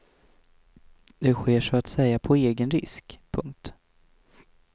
Det sker så att säga på egen risk. punkt